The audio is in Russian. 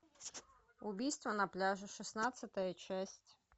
убийство на пляже шестнадцатая часть